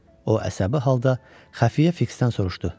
O əsəbi halda Xəfiyyə Fiksdən soruşdu.